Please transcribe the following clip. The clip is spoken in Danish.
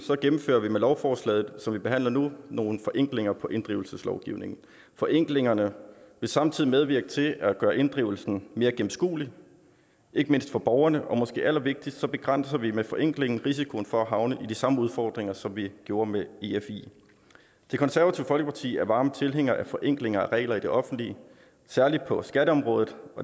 gennemfører vi med lovforslaget som vi behandler nu nogle forenklinger for inddrivelse forenklingerne vil samtidig medvirke til at gøre inddrivelsen mere gennemskuelig ikke mindst for borgerne og måske allervigtigst begrænser vi med forenklingen risikoen for at havne i de samme udfordringer som vi gjorde med efi det konservative folkeparti er varme tilhængere af forenklinger af regler i det offentlige særlig på skatteområdet